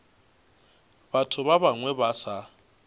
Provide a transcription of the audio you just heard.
batho ba bangwe ba sa